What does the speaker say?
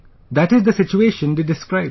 That is the situation they describe